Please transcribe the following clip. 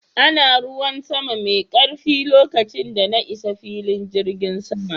Ana ruwan sama mai karfi lokacin da na isa filin jirgin sama